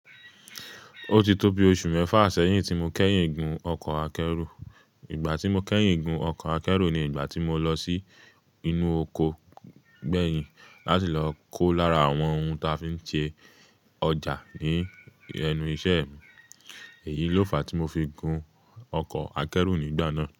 Ó ti tó bí oṣù mẹ́fà sẹ́yìn tí mo kẹ́yìn gun ọkọ̀ akẹ́rù. Ìgbà tí mo kẹ́yìn gun ọkọ̀ akẹ́rù ni ìgbà tí mo lọ sí inú oko gbẹ̀yìn láti lọ kó lára àwọn ohun ta fi ń ṣe ọjà ní ẹnu iṣẹ́ mi. Èyí ló fàá tí mo fi gun ọkọ̀ akẹ́rù nígbà náà.